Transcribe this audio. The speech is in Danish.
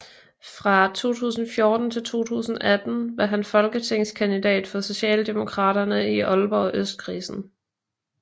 Fra 2014 til 2018 var han folketingskandidat for Socialdemokraterne i Aalborg Østkredsen